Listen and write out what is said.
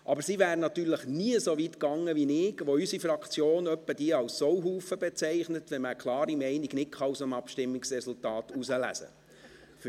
Aber sie wäre natürlich nie so weit gegangen wie ich, der unsere Fraktion ab und zu als Sauhaufen bezeichnet, wenn man aus dem Abstimmungsresultat keine klare Meinung herauslesen kann.